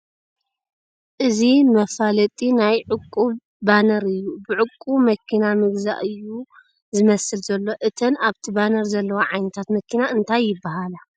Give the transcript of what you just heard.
እዚ መፋለጢ ናይ ዕቑብ ባነር እዩ ብዕቑብ መኪና ምግዛእ እዩ ዝመስል ዘሎ ፡ እተን ኣብቲ ባነር ዘለዋ ዓይነታት መኪና እንታ ይበሃላ ?